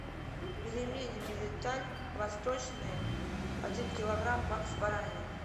пельмени мириталь восточные один килограмм с бараниной